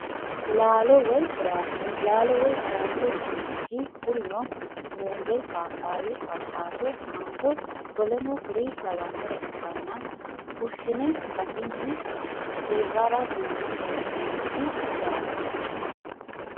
Laalo woyi firaafire laalo woyi firaafire yineemoti kurino muuze papayyu awukaato manggo w.k.l ikkana fushine gatini hitara duune heenonite yaate.